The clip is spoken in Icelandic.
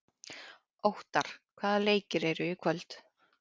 Óttarr, hvaða leikir eru í kvöld?